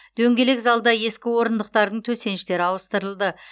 дөңгелек залда ескі орындықтардың төсеніштері ауыстырылды